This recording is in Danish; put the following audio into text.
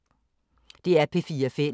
DR P4 Fælles